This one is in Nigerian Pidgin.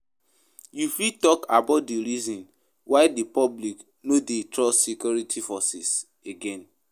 You fit talk about di reasons why di public no dey trust security forces again.